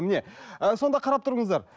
міне ы сонда қарап тұрыңыздар